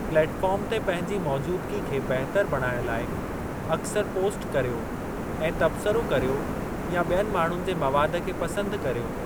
Platform ते पंहिंजी मौजूदगी खे बहितर बणाइणु लाइ अक्सर पोस्ट करियो ऐं तब्सरो करियो या ॿियनि माण्हुनि जे मवादु खे पसंदि करियो।